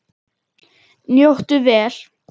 Njóttu vel.